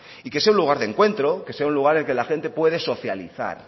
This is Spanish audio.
y que sea un lugar de encuentro que sea un lugar que la gente puede socializar